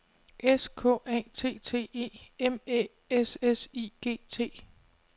S K A T T E M Æ S S I G T